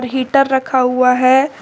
Heater रखा हुआ है।